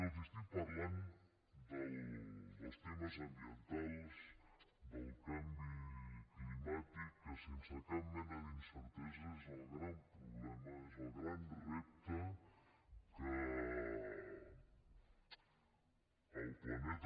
els estic parlant dels temes ambientals del canvi climàtic que sense cap mena d’incertesa és el gran problema és el gran repte que el planeta